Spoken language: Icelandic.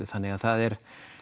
þannig að það er